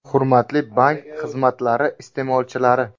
Hurmatli bank xizmatlari iste’molchilari!